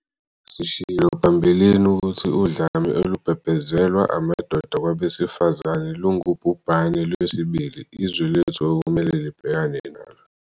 Sishilo phambilini ukuthi udlame olubhebhezelwa amadoda kwabesifazane lungubhubhane lwesibili izwe lethu okumele libhekane nalo.